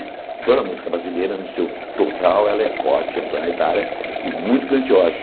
Toda música brasileira, no seu total, ela é forte, é planetária e muito grandiosa.